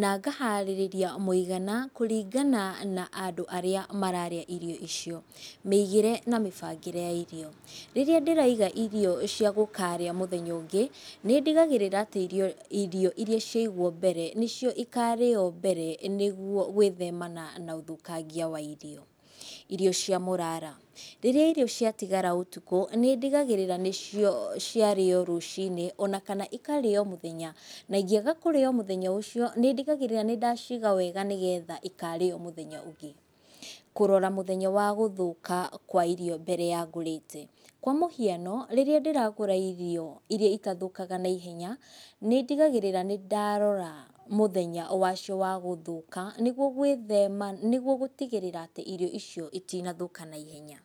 na ngaharĩrĩria mũigana kũringana na andũ arĩa mararĩa irio icio. Mĩigire na mĩbangĩre ya irio. Rĩrĩa ndĩraiga irio cia gũkarĩa mũthenya ũngĩ, nĩ ndigagĩrĩra atĩ irio ĩria ciagwo mbere nĩcio ikarĩywo mbere nĩguo gwĩthemana na ũthũkangia wa irio. Irio cia mũrara. Rĩrĩa irio cĩatigara ũtukũ nĩ ndigagĩrĩra nĩcio cĩarĩo rũcinĩ onakana ikarĩo mũthenya, na ingĩaga kũrĩo mũthenya ũcio, nĩ ndigagĩrĩra nĩ ndaciga wega nĩgetha ikarĩywo mũthenya ũngĩ. Kũrora mũthenya wa gũthũka kwa irio mbere ya ngũrĩte, kwa mũhiano rĩrĩa ndĩragũra irio iria itathũkaga na ihenya, nĩ ndigagĩrira nĩ ndarora mũthenya wacio wa gũthuka niguo gwithema, nĩguo gũtigĩrĩra atĩ irio icio itinathũka na ihenya.